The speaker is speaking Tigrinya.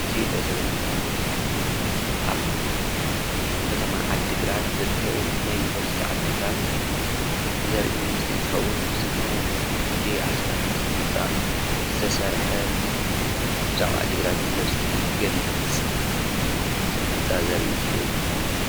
እዚ ንሪኦ ዘለና ምስሊ ድማ ኣብ ከተማ ዓዲግራት ዝርከብ ናይ ዩኒቨርስቲ ዓዲግራት ዘርኢ ምስሊ እንትኸውን ብዝተፈላለዪ ቅዲ ኣሰራርሓ ስነ ህንፃ ዝተሰርሐ ብዛዕባ ዓዲግራት ዩኒቨርስቲ ዝገልፅ ስነህንፃ ዘርኢ ምስሊ እዪ ።